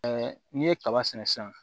n'i ye kaba sɛnɛ sisan